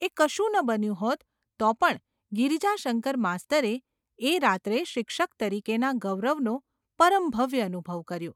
એ કશું ન બન્યું હોત તો પણ ગિરિજાશંકર માસ્તરે એ રાત્રે શિક્ષક તરીકેના ગૌરવનો પરમ ભવ્ય અનુભવ કર્યો.